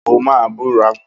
O máa búra!